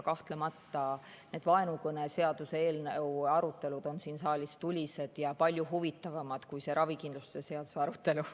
Kahtlemata need vaenukõneseaduse eelnõu arutelud on siin saalis tulised ja palju huvitavamad kui see ravikindlustuse seaduse arutelu.